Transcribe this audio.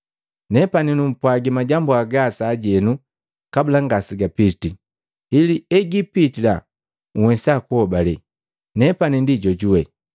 Nepani numpwagi majambu hagaa sajenu kabula ngase gapitii, ili hegiipitila nhwesa kuhobale, ‘Nepani ndi Jojuwe.’